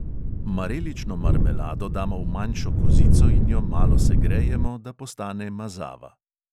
Marelično marmelado damo v manjšo kozico in jo malo segrejemo, da postane mazava.